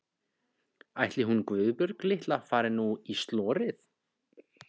Ætli hún Guðbjörg litla fari nú í slorið.